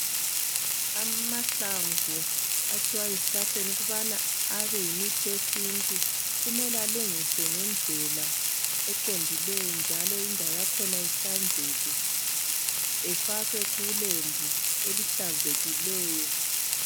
Amahlamvu akhiwa ezihlahleni ukuba abe yimithi yesintu. Kumele alungiswe ngendlela eqondileyo, njalo lendawo yakhona ihlanzeke. Efakwe kulembu elihlanzekileyo.